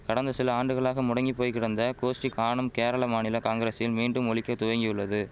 கடந்த சில ஆண்டுகளாக முடங்கி போய் கிடந்த கோஷ்டி காணும் கேரள மாநில காங்கிரசின் மீண்டும் ஒலிக்க துவங்கியுள்ளது